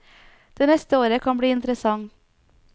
Det neste året kan bli interessant.